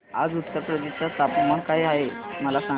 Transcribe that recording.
आज उत्तर प्रदेश चे तापमान काय आहे मला सांगा